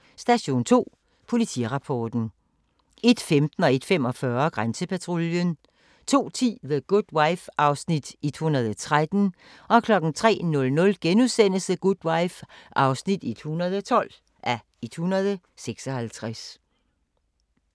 00:45: Station 2: Politirapporten 01:15: Grænsepatruljen 01:45: Grænsepatruljen 02:10: The Good Wife (113:156) 03:00: The Good Wife (112:156)*